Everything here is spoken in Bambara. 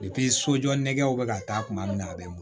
sojɔ nɛgɛw bɛ ka taa kuma min na a bɛ mɔ